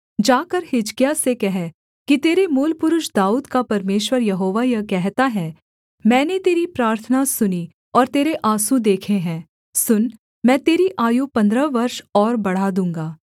जाकर हिजकिय्याह से कह कि तेरे मूलपुरुष दाऊद का परमेश्वर यहोवा यह कहता है मैंने तेरी प्रार्थना सुनी और तेरे आँसू देखे हैं सुन मैं तेरी आयु पन्द्रह वर्ष और बढ़ा दूँगा